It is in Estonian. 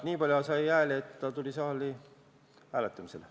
Nii palju sai ettepanek hääli, et see tuli saali hääletamisele.